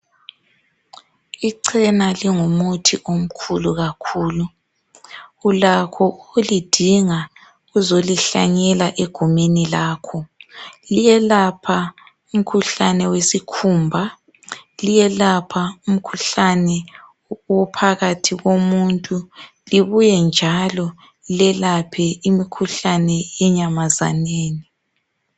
Ichena lingumuthi omkhulu kakhulu Ulakho ukulidinga uzolihlanyela egumeni lakho. Liyelapha umkhuhlane wesikhumba. Liyelapha umkhuhlane ophakathi komuntu libuye njalo lelaphe imkhuhlane enyamazaneni .